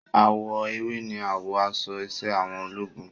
Àwọ̀ ewé ni àwọ̀ aṣọ iṣẹ́ àwọn ológun